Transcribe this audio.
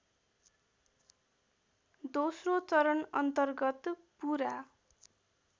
दोस्रो चरणअन्तर्गत पुरा